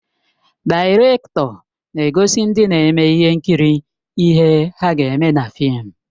Daịrektọ na-egosi ndị na-eme ihe nkiri ihe ha ga-eme na fịịm.